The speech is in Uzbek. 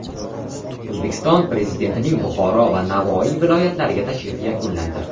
O‘zbekiston Prezidentining Buxoro va Navoiy viloyatlariga tashrifi yakunlandi.